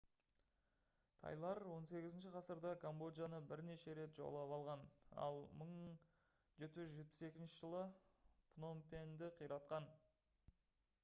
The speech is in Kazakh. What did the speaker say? тайлар 18-ші ғасырда камбоджаны бірнеше рет жаулап алған ал 1772 жылы пномпеньді қиратқан